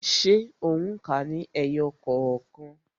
Ṣé o n ka ní ẹyọ kookan?